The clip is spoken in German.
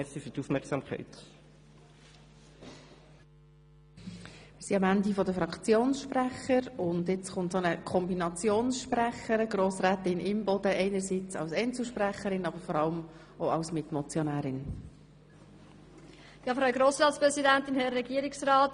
Wir sind am Ende der Fraktionsvoten angelangt, und haben nun eine Kombinationssprecherin: Grossrätin Imboden als Mitmotionärin und als Einzelsprecherin.